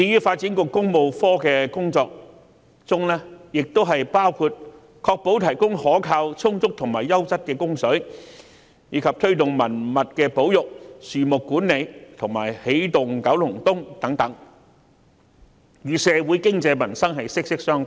發展局的工作亦包括確保提供可靠、充足及優質的食水，以及推動文物保育、樹木管理和"起動九龍東"計劃等，與社會的經濟民生息息相關。